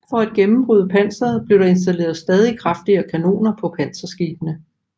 For at gennembryde panseret blev der installeret stadig kraftigere kanoner på panserskibene